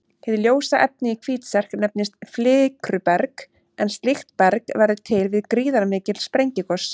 Hið ljósa efni í Hvítserk nefnist flikruberg en slíkt berg verður til við gríðarmikil sprengigos.